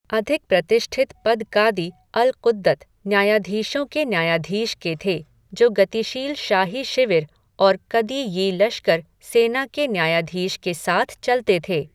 अधिक प्रतिष्ठित पद कादी अल क़ुद्दत, न्यायाधीशों के न्यायाधीश के थे, जो गतिशील शाही शिविर और कदी यी लश्कर, सेना के न्यायाधीश के साथ चलते थे।